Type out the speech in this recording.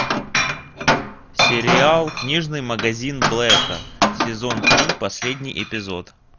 сериал книжный магазин блэка сезон три последний эпизод